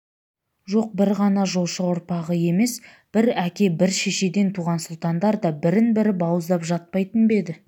жоқ бір ғана жошы ұрпағы емес бір әке бір шешеден туған сұлтандар да бірін-бірі бауыздап жатпайтын ба еді